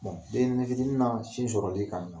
den ɲɛrɛnin fitini na sin sɔrɔli ka